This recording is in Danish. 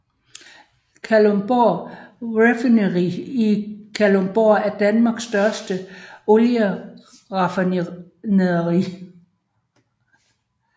Kalundborg Refinery i Kalundborg er Danmarks største olieraffinaderi